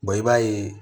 i b'a ye